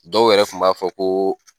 Dɔw yɛrɛ kun b'a fɔ ko